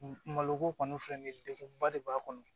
Maloko kɔni filɛ nin ye degunba de b'a kɔnɔ